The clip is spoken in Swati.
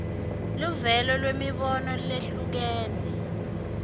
luvelo lwemibono lehlukene